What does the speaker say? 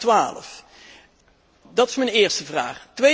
2012. Dat is mijn eerste vraag.